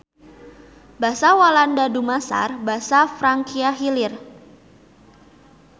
Basa Walanda dumasar basa Frankia Hilir.